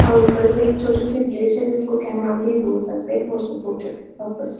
और ऊपर से एक छोटी-सी ब्रीज है जिसको केनाल भी बोल सकते है फोर सपोर्टेड --.